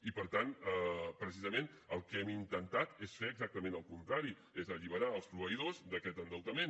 i per tant precisament el que hem intentat és fer exactament el contrari és alliberar els proveïdors d’aquest endeutament